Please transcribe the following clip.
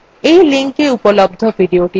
এই linkএ উপলব্ধ videothe দেখুন